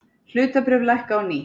Hlutabréf lækka á ný